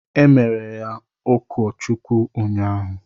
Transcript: Emere ya ụkọ Chukwu unyaahụ.